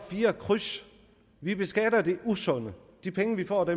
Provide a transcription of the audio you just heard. fire kryds vi beskatter det usunde de penge vi får